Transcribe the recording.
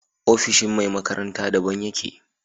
Ofishin me makaranta da ban yake